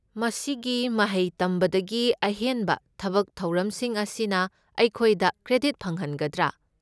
ꯃꯁꯤꯒꯤ ꯃꯍꯩ ꯇꯝꯕꯗꯒꯤ ꯑꯍꯦꯟꯕ ꯊꯕꯛ ꯊꯧꯔꯝꯁꯤꯡ ꯑꯁꯤꯅ ꯑꯩꯈꯣꯏꯗ ꯀ꯭ꯔꯦꯗꯤꯠ ꯐꯪꯍꯟꯒꯗ꯭ꯔꯥ?